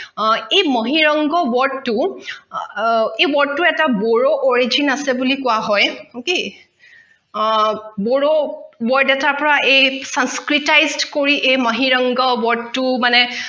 এই mahiranga word টো এই word টো এটা bodo origin আছে বুলি কোৱা হয় okay bodo word এটাৰ পৰা এই sanskritize কৰি mahiranga word মানে